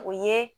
O ye